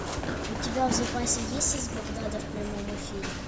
у тебя в запасе есть из багдада в прямом эфире